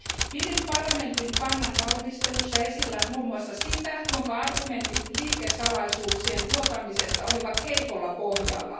Pidin parlamentin kannan valmistelussa esillä muun muassa sitä, että argumentit liikesalaisuuksien vuotamisesta olivat heikolla pohjalla.